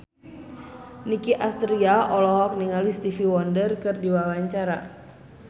Nicky Astria olohok ningali Stevie Wonder keur diwawancara